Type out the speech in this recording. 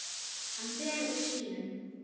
Hann fer úr sínum.